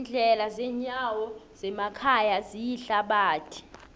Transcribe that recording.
iindlela zendawo zemakhaya ziyithabathi